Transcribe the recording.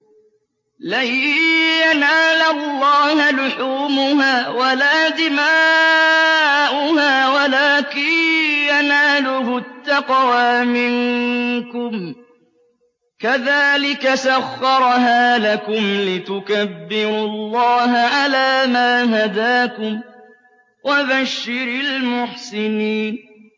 لَن يَنَالَ اللَّهَ لُحُومُهَا وَلَا دِمَاؤُهَا وَلَٰكِن يَنَالُهُ التَّقْوَىٰ مِنكُمْ ۚ كَذَٰلِكَ سَخَّرَهَا لَكُمْ لِتُكَبِّرُوا اللَّهَ عَلَىٰ مَا هَدَاكُمْ ۗ وَبَشِّرِ الْمُحْسِنِينَ